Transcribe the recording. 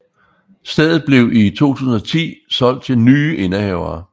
Stedet blev i 2010 solgt til ny indehavere